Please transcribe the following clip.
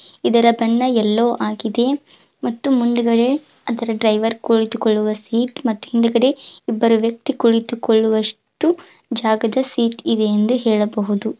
ಇದರ ಬಣ್ಣ ಎಲ್ಲೋ ಆಗಿದೆ ಮತ್ತು ಮುಂದ್ಗಡೆ ಅದರ ಡ್ರೈವರ್ ಕುಳಿತುಕೊಳ್ಳುವ ಸೀಟ್ ಮತ್ತು ಹಿಂದ್ಗಡೆ ಇಬ್ಬರು ವ್ಯಕ್ತಿ ಕುಳಿತುಕೊಳ್ಳುವಷ್ಟು ಜಾಗದ ಸೀಟ್ ಇದೆ ಎಂದು ಹೇಳಬಹುದು.